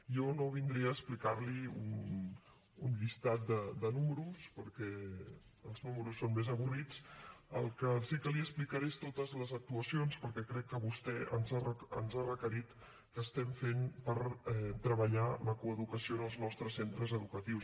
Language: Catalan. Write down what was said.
jo no vindré a explicar li un llistat de números perquè els números són més avorrits el que sí que li explicaré són totes les actuacions perquè crec que vostè ens ha requerit què estem fent per treballar la coeducació en els nostres centres educatius